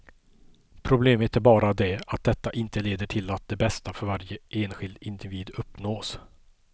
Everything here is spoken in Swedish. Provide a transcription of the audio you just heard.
Problemet är bara det att detta inte leder till att det bästa för varje enskild individ uppnås.